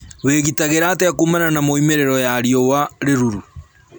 Wĩ gitagĩra atĩa kuumana na moimĩrĩro ya rĩũa rĩrũrũ?